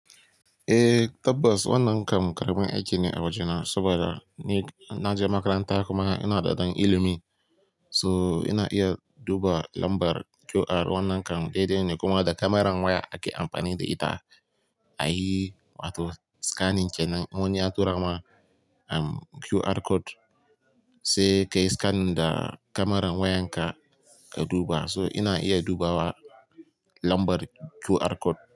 Eh tabbas wannan kam karamin aiki ne a waje na saboda ni na je makaranta kuma ina da dan ilimi. So ina iya duba lambar QR wannan kam dai dai ne kuma da kamaran waya ake amfani da ita a yi wato scanning kenan. Wani ya tura ma QR code sai ka yi scanning da kamaran wayan ka, ka duba. So ina iya dubawa lambar QR code.